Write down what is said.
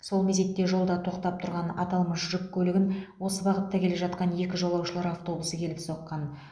сол мезетте жолда тоқтап тұрған аталмыш жүк көлігін осы бағытта келе жатқан екі жолаушылар автобусы келіп соққан